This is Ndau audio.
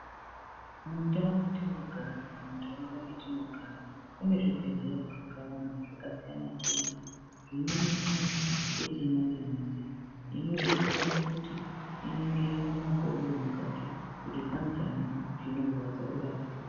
Mundau metinogara kana munharaunda mwatinogara, kune zvibhedhlera zvakawanda zvakasiyana siyana zvine michini yechimanjemanje inodetsera kuti iningira mukati memakodo kuti pane chinorwadza urapwe.